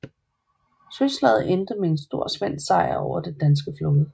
Søslaget endte med en stor svensk sejr over den danske flåde